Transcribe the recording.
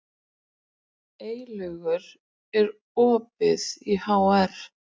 Eylaugur, er opið í HR?